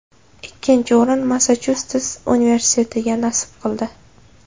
Ikkinchi o‘rin Massachusets universitetiga nasib qildi.